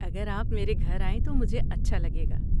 اگر آپ میرے گھر آئیں تو مجھے اچھا لگے گا۔